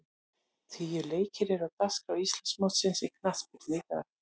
Tíu leikir eru á dagskrá Íslandsmótsins í knattspyrnu í dag.